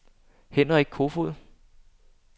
Henrik Kofoed